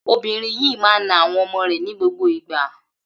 Obìnrin yìí máa ń na àwọn ọmọ rẹ̀ ní gbogbo ìgbà.